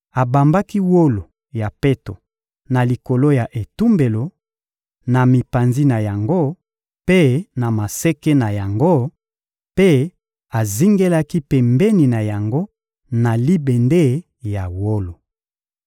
Abambaki wolo ya peto na likolo ya etumbelo, na mipanzi na yango mpe na maseke na yango; mpe azingelaki pembeni na yango na libende ya wolo.